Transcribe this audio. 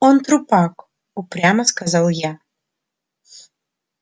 он трупак упрямо сказал я